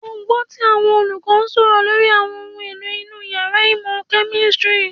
Ó gbọ́ tí àwọn olùkọ́ ń sọ̀rọ̀ lórí àwọn ohun èlò inú yàrá ìmọ̀ kẹ̀mísírì